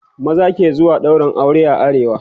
maza ke zuwa wurin ɗaurin aure a arewa